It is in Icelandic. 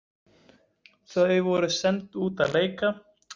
Þau voru send út að leika.